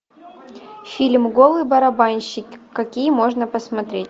фильм голый барабанщик какие можно посмотреть